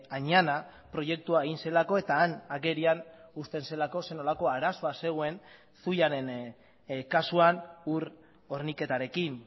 añana proiektua egin zelako eta han agerian uzten zelako zer nolako arazoa zegoen zuiaren kasuan ur horniketarekin